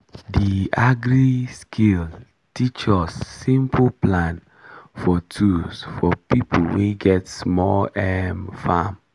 the agri-skill teach us simple plan for tools for people wey get small um farm